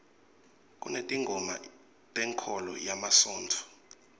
kunetingoma tenkholo yemasontfo